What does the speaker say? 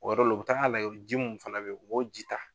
O de la o bi taa lajɛ ji mun fana be ye u b'o ji taa